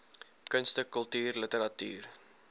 kunste kultuur literatuur